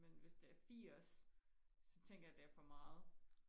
men hvis det er firs så tænker jeg det er for meget